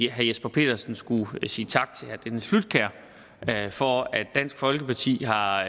jesper petersen skulle sige tak til herre dennis flydtkjær for at dansk folkeparti har